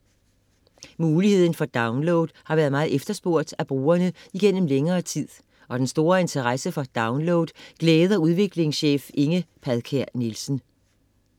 Muligheden for download har været meget efterspurgt af brugerne igennem længere tid, og den store interesse for download glæder udviklingschef Inge Padkær Nielsen: